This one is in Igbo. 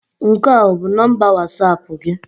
Nke a ọ bụ nọmba Wọsapụ gị?